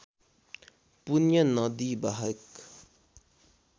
पुण्य नदी बाहेक